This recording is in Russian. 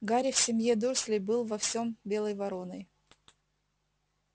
гарри в семье дурслей был во всем белой вороной